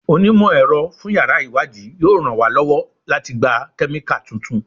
Onímọ̀-ẹ̀rọ fún yàrá ìwádìí yóò ràn wá lọ́wọ́ láti gba Kẹ́míkà tuntun.